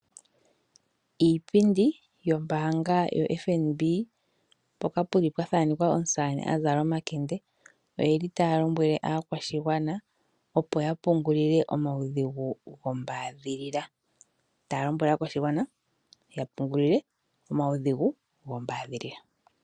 Iipindi yombaanga yo FNB mpoka puli pwa thaanekwa omusamane a zala omakende. Oye li taya lombwele aakwashigwana opo ya pungulile omaudhigu gombaadhilila. Taya lombwele aakwashigwana ya pungulile omaudhigu gombaadhilila.